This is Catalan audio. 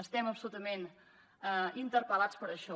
estem absolutament interpel·lats per això